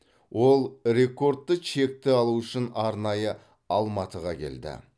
ол рекордты чекті алу үшін арнайы алматыға келді